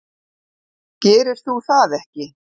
Gerir þú það ekki?